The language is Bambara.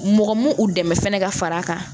Mɔgɔ mun dɛmɛ fɛnɛ ka far'a kan